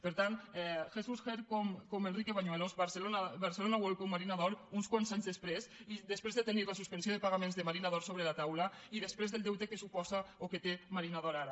per tant jesús ger com enrique bañuelos barcelona world com marina d’or uns quants anys després i després de tenir la suspensió de pagaments de marina d’or sobre la taula i després del deute que suposa o que té marina d’or ara